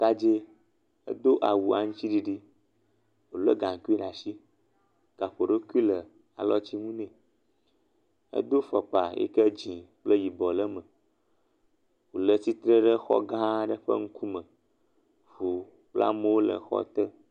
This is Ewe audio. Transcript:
Ɖekadze edo awu aŋtiɖiɖi le gaŋkui ɖe asi. Gaŋkui ɖewo fli le alɔtsinu nɛ. Edo fɔkpa yike dzi kple yibɔ le eŋu le tsitre ɖe xɔ gã aɖe ƒe ŋku me. Wo kple amewo le xɔ te.